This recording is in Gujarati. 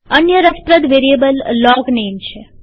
અન્ય રસપ્રદ વેરીએબલ લોગનેમ છે